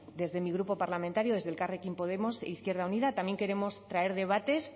desde mi grupo parlamentario desde elkarrekin podemos izquierda unida también queremos traer debates